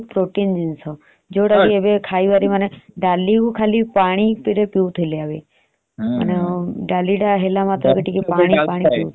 ଆଉ ଭଜା କରାହେଇଥିଲା ଯେ ଡାଲି ଟା ବି ବହୁତ protein ଜିନିଷ ଯୋଉଟା କି ଆଗରୁ ଡାଲି ଖାଲି ପାଣି ପିଉଥିଲେ। ଡାଲି ଟା ହେଲା ମାତ୍ରେ ଖାଲି ପାଣି ପାଣି ପିଉଥିଲେ।